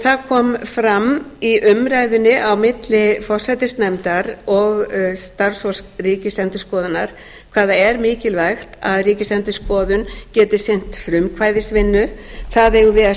það kom fram í umræðunni á milli forsætisnefndar og starfsfólks ríkisendurskoðunar hvað það er mikilvægt að ríkisendurskoðun geti sinnt frumkvæðisvinnu það eigum við að